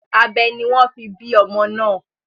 Abẹ ni wọ́n fi bí ọmọ náà.